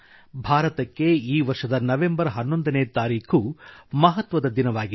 ಭಾರತಕ್ಕೆ ಈ ವರ್ಷದ ನವಂಬರ್ ಹನ್ನೊಂದನೇ ತಾರೀಖು ಮಹತ್ವದ ದಿನವಾಗಿದೆ